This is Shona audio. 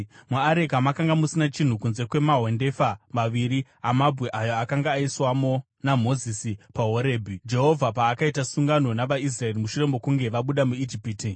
Muareka makanga musina chinhu kunze kwamahwendefa maviri amabwe ayo akanga aiswamo naMozisi paHorebhi, Jehovha paakaita sungano navaIsraeri mushure mokunge vabuda muIjipiti.